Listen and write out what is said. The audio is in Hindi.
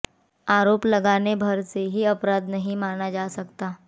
आरोप लगाने भर से ही अपराध नहीं माना जा सकता